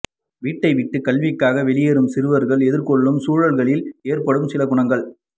வீட்டைவிட்டு கல்விக்காக வெளிவரும் சிறுவர்கள் எதிர்கொள்ளூம் சூழல்களில் ஏற்படும் சில குணங்கள்